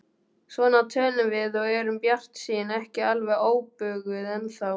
Svona tölum við og erum bjartsýn, ekki alveg óbuguð ennþá.